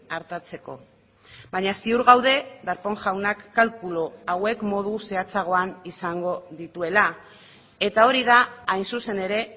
artatzeko baina ziur gaude darpón jaunak kalkulu hauek modu zehatzagoan izango dituela eta hori da hain zuzen ere